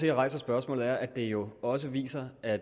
jeg rejser spørgsmålet er at det jo også viser at